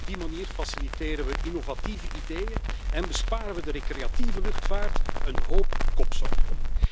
Op die manier faciliteren we innovatieve ideeën en besparen we de recreatieve luchtvaart een hoop kopzorgen.